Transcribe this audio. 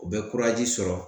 U be sɔrɔ.